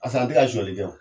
Barisa an ti ka suɲɛni kɛ wo.